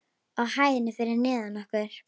Á hæðinni fyrir neðan okkur.